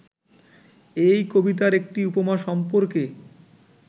এই কবিতার একটি উপমা সম্পর্কে